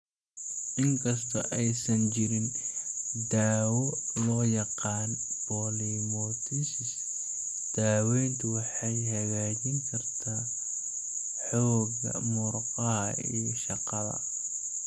Inkastoo aysan jirin daawo loo yaqaan polymyositis, daaweyntu waxay hagaajin kartaa xoogga murqaha iyo shaqada.